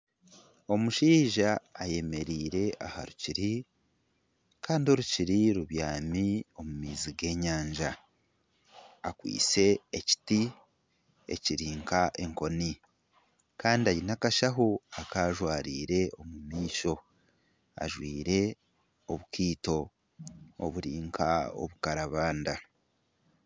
Omushaija ayemereire aha rukiri, kandi orukiri rubyami omu maizi g'enyanja. Akwaitse ekiti ekiri nk'enkoni. Kandi aine akashaho aku ajwariire omu maisho. Ajwaire obukaito oburi nka obukarabanda.